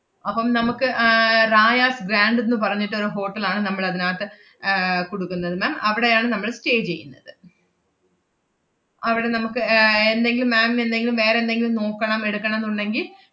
അപ്പം നമ്മുക്ക് ആഹ് റായാസ് ഗ്രാൻഡ്ന്ന് പറഞ്ഞിട്ട് ഒരു hotel ആണ്ന മ്മളതിനാത്ത് ഏർ കുടുക്കുന്നത് ma'am അവടെയാണ് നമ്മള് stay ചെയ്യുന്നത്. അവടെ നമ്മുക്ക് ഏർ എന്തെങ്കിലും ma'am ന് എന്തെങ്കിലും വേറെന്തെങ്കിലും നോക്കണം എടുക്കണം ന്നുണ്ടെങ്കി,